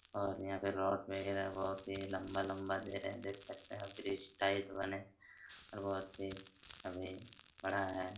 और यहाँ पे रॉड वगेरा बहुत ही लंबा-लंबा दे रहे है देख सकते है और ब्रिज टाइप बने और बहुत ही अभी बड़ा हैं।